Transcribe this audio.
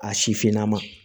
A sifinna ma